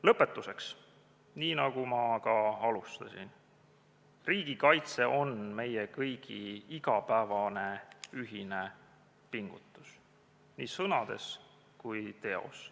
Lõpetuseks, nii nagu ma ka alustasin: Riigikaitse on meie kõigi igapäevane ühine pingutus nii sõnades kui teos.